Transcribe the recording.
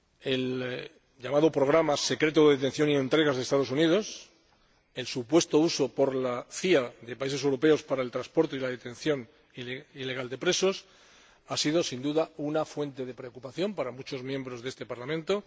El llamado programa secreto de detención y entregas de Estados Unidos, el supuesto uso por la CIA de países europeos para el transporte y la detención ilegal de presos, ha sido, sin duda, una fuente de preocupación para muchos miembros de este Parlamento.